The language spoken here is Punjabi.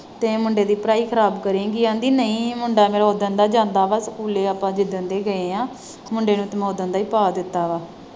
ਤੇ ਮੁੰਡੇ ਦੀ ਪੜਾਈ ਖਰਾਬ ਕਰੇਂਗੀ ਕਹਿੰਦੀ ਨਹੀਂ ਮੁੰਡਾ ਮੇਰਾ ਓਦਣ ਦਾ ਜਾਂਦਾ ਵਾ ਸਕੂਲ ਆਪਾਂ ਜਿਦਣ ਦੇ ਗਏ ਹਾਂ। ਮੁੰਡੇ ਨੂੰ ਤੇ ਮੈਂ ਓਦਣ ਦਾ ਹੀ ਪਾ ਦਿੱਤਾ ਵਾ।